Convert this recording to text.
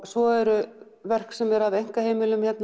svo eru verk sem eru af einkaheimilum